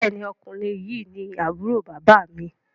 Béèni Ọkùnrin yi ní Àbúrò bàbá mi.